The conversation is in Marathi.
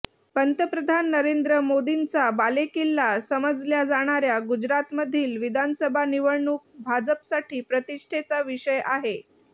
पंतप्रधान नरेंद्र मोदींचा बालेकिल्ला समजल्या जाणाऱ्या गुजरातमधील विधानसभा निवडणूक भाजपसाठी प्रतिष्ठेचा विषय आहे